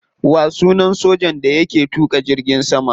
Wa sunan sojan da yake tuka jirgin sama?